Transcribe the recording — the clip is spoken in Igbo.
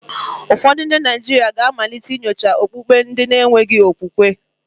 Ụfọdụ ndị Naijiria ga-amalite inyocha okpukpe ndi na-enweghi okwukwe.